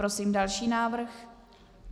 Prosím další návrh.